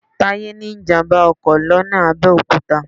Táyé ní ìjàm̀bá ọkọ̀ lọ́nà Abẹ́òkúta